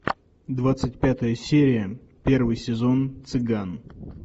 двадцать пятая серия первый сезон цыган